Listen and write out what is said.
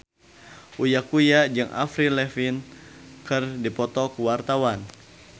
Uya Kuya jeung Avril Lavigne keur dipoto ku wartawan